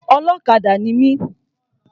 Ọlọ́kadà ni mi.